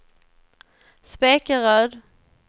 Spekeröd